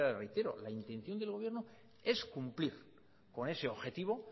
reitero la intención del gobierno es cumplir con ese objetivo